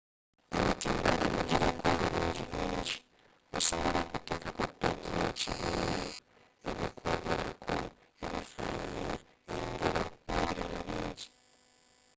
emitimbbagano giliko ebirungi bingi osobola okutekako peegi yekibiina, ebikwogerako ebifananyi engero n’ebilala bingi